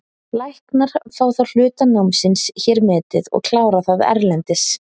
Læknar fá þá hluta námsins hér metið og klára það erlendis.